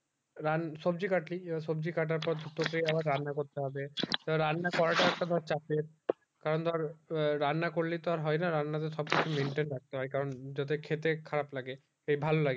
রান্না সবজি কাটলি এবার সবজি কাটার পর দুটো তে আবার রান্না করতে হবে রান্না করা টাও একটা ধর চাপে কারণ ধর রান্না করলে তো আর হয়ে না রান্না তে সব কিছু maintain রাখতে হয় কারণ যাতে খেতে খারাপ লাগে সেই ভাল লাগে লাগে